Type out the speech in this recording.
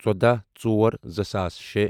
ژۄدَہ ژور زٕساس شے